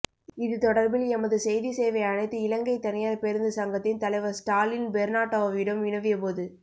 இதுதொடர்பில் எமது செய்தி சேவை அனைத்து இலங்கை தனியார் பேருந்து சங்கத்தின் தலைவர் ஸ்டாலின் பெர்னாட்டோவிடம் வினவிய போது